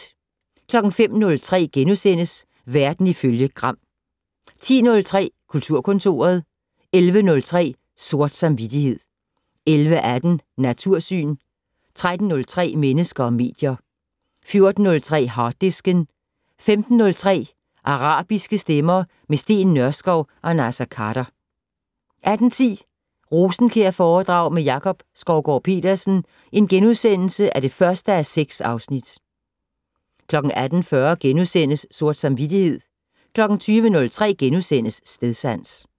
05:03: Verden ifølge Gram * 10:03: Kulturkontoret 11:03: Sort samvittighed 11:18: Natursyn 13:03: Mennesker og medier 14:03: Harddisken 15:03: Arabiske stemmer - med Steen Nørskov og Naser Khader 18:10: Rosenkjærforedrag med Jakob Skovgaard-Petersen (1:6)* 18:40: Sort samvittighed * 20:03: Stedsans *